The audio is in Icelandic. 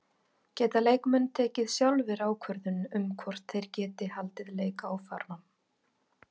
Geta leikmenn tekið sjálfir ákvörðun um hvort þeir geti haldið leik áfram?